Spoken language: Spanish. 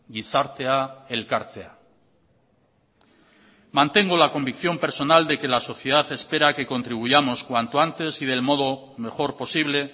gizartea elkartzea mantengo la convicción personal de que la sociedad espera que contribuyamos cuanto antes y del modo mejor posible